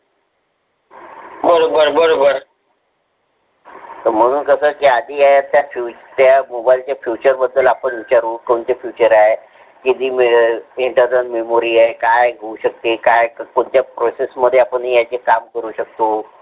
मणून कस ते आहे आधी, ते फुच mobile चे Features बद्दल विचारू आपण कोणते Features आहे. किती वेळ आहे किच आदर मेमरी आहे. काय आहे कसा आहे काय होऊ शकते कोणत्या procces मध्ये याची आपण काम करू शकतो.